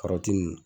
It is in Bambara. Kɔrɔti nunnu